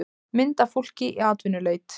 mynd af fólki í atvinnuleit